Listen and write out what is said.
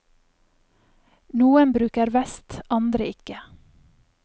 Noen bruker vest, andre ikke.